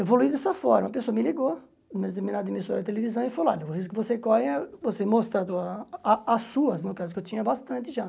Evolui dessa forma, a pessoa me ligou, emissora de televisão, e falou, olha, o risco que você corre é você mostrar a tua a as suas, no caso, que eu tinha bastante já.